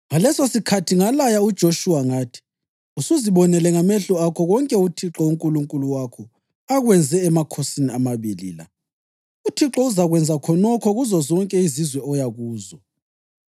“Ngalesosikhathi ngalaya uJoshuwa ngathi: ‘Usuzibonele ngamehlo akho konke uThixo uNkulunkulu wakho akwenze emakhosini amabili la. UThixo uzakwenza khonokho kuzozonke izizwe oya kuzo.